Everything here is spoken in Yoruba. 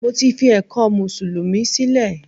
Mo ti fi ẹ̀kọ́ mùsùlùmí sílẹ̀